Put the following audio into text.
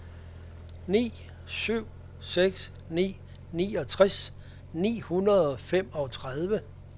ni syv seks ni niogtres ni hundrede og femogtredive